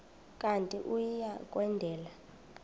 kanti uia kwendela